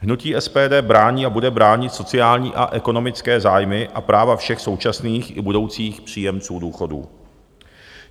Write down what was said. Hnutí SPD brání a bude bránit sociální a ekonomické zájmy a práva všech současných i budoucích příjemců důchodů.